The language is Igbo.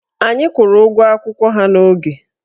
Anyị kwụrụ ụgwọ akwụkwọ ha n'oge.